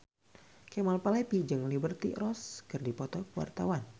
Kemal Palevi jeung Liberty Ross keur dipoto ku wartawan